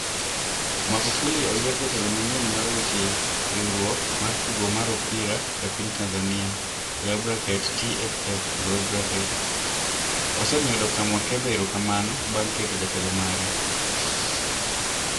Magufuli oyier jatelo manyien mar weche weche Riwruok mar tugo mar opira e piny Tanzania (TFF) osemiyo Dr Mwakwembe erokamano bang' keto jatelo mare.